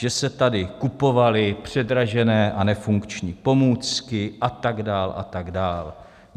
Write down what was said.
Že se tady kupovaly předražené a nefunkční pomůcky a tak dál a tak dál.